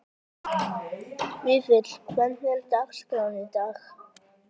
Vífill, hvernig er dagskráin í dag?